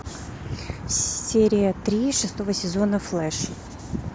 серия три шестого сезона флэш